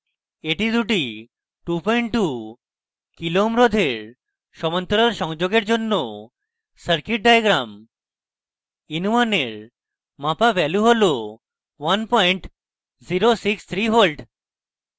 এটি দুটি 22kω kilo ohms রোধের সমান্তরাল সংযোগের জন্য circuit diagram in1 এর মাপা value হল 1063v